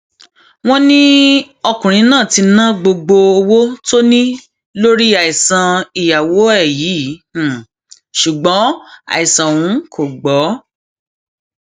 wọn ní ọkùnrin náà ti ná gbogbo owó tó ní lórí àìsàn ìyàwó ẹ yìí ṣùgbọn àìsàn ọhún kò gbọ